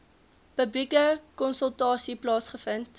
publieke konsultasie plaasgevind